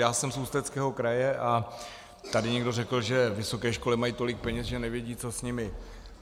Já jsem z Ústeckého kraje a tady někdo řekl, že vysoké školy mají tolik peněz, že nevědí, co s nimi.